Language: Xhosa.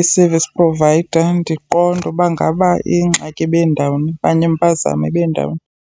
i-service provider, ndiqonde uba ngaba ingxaki ibindawoni okanye impazamo ibindawoni.